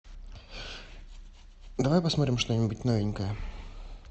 давай посмотрим что нибудь новенькое